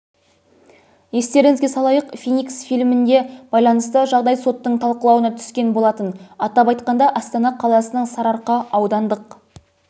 естеріңізге салайық феникс фильміне байланысты жағдай соттың талқылауына түскен болатын атап айтқанда астана қаласының сарыарқа аудандық